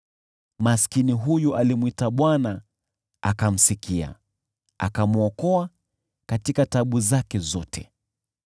Maskini huyu alimwita Bwana , naye akamsikia, akamwokoa katika taabu zake zote.